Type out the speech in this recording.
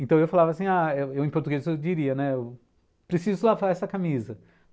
Então eu falava assim ah, eu eu em português eu diria, preciso lavar essa camisa.